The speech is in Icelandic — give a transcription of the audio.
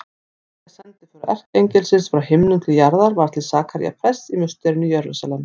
Þriðja sendiför erkiengilsins frá himnum til jarðar var til Sakaría prests í musterinu í Jerúsalem.